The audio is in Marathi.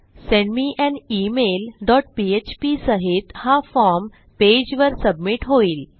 send me an email dot PHP सहित हा फॉर्म पेजवर सबमिट होईल